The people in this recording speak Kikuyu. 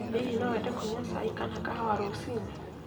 Hihi no wende kũnyua cai kana kahuwa rũcinĩ